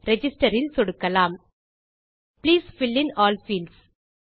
register இல் சொடுக்கலாம் please fill in all fields